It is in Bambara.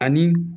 Ani